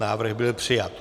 Návrh byl přijat.